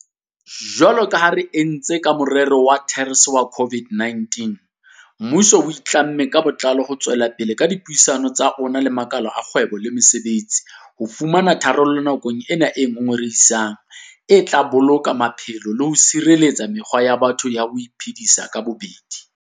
Jwalo ka ha re entse ka morero wa TERS wa COVID-19, mmuso o itlamme ka botlalo ho tswella ka dipuisano tsa ona le makala a kgwebo le mosebetsi ho fumana tharollo nakong ena e ngongorehisang e tla boloka maphelo le ho tshireletsa mekgwa ya batho ya ho iphedisa ka bobedi.